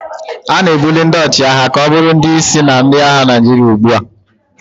A na-ebuli ndị ọchịagha ka ọ bụrụ ndị isi na ndị agha Naijiria ugbu a